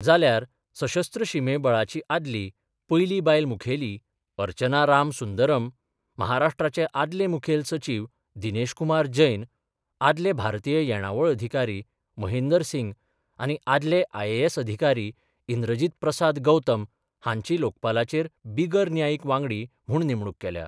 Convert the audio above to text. जाल्यार, सशस्त्र शीमे बळाची आदली पयली बायल मुखेली अर्चना राम सुंदरम, महाराष्ट्राचे आदले मुखेल सचिव दिनेश कुमार जैन, आदले भारतीय येणावळ अधिकारी महेंदर सिंग आनी आदले आय.ए.एस अधिकारी इंद्रजीत प्रसाद गौतम हांची लोकपालाचेर बिगर न्यायिक वांगडी म्हुण नेमणूक केल्या.